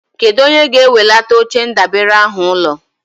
Kedụ onye ga-ewelata oche ndabere ahụ ụlọ?